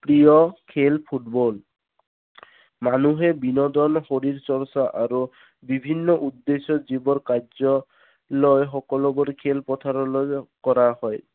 প্ৰিয় খেল ফুটবল মানুহে বিনদন শৰীৰ চৰ্চ্চা আৰু বিভিন্ন উদ্দেশ্যত যিবোৰ কাৰ্যক লৈ সকলো বোৰ খেল পথাৰলৈ কৰা হয়